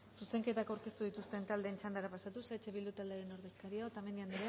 zuzenketak aurkeztu dituzten taldeen txandara pasatuz eh bildu taldearen ordezkaria otamendi andrea